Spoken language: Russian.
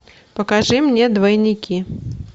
покажи мне двойники